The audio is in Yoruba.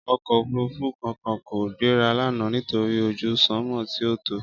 Ọkọ òfuurufú kankan kò gbéra lánàá nítorí ojú sanmọ tí ò tọ́.